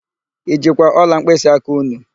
I jikwa ọla mkpịsịaka ụnụ?